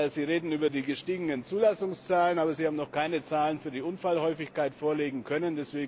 Sie reden über die gestiegenen Zulassungszahlen, aber Sie haben noch keine Zahlen für die Unfallhäufigkeit vorlegen können.